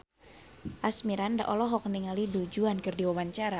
Asmirandah olohok ningali Du Juan keur diwawancara